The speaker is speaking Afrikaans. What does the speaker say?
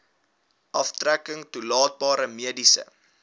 aftrekking toelaatbare mediese